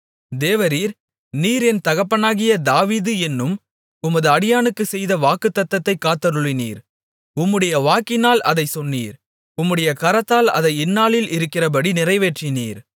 தேவரீர் நீர் என் தகப்பனாகிய தாவீது என்னும் உமது அடியானுக்குச் செய்த வாக்குத்தத்தத்தைக் காத்தருளினீர் உம்முடைய வாக்கினால் அதைச் சொன்னீர் உம்முடைய கரத்தால் அதை இந்நாளில் இருக்கிறபடி நிறைவேற்றினீர்